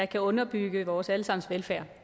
kan underbygge vores alle sammens velfærd